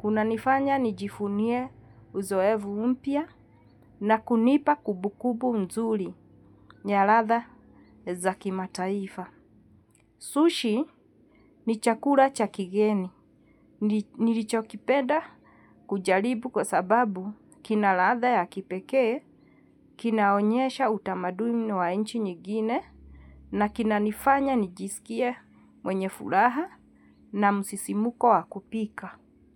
kuna nifanya nijivunie uzoefu mpya na kunipa kumbukumbu nzuri, yaladha za kimataifa. Sushi, ni chakula cha kigeni. Nilichokipenda kujaribu kwasababu kina ladha ya kipekee, kina onyesha utamadumi na wanchi nyingine na kina nifanya nijisikie mwenye furaha na msisimuko wakupika.